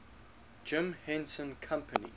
jim henson company